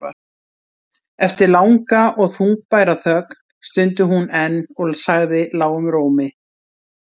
Eftir langa og þungbæra þögn stundi hún enn og sagði lágum rómi